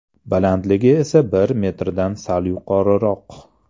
Balandligi esa bir metrdan sal yuqoriroq.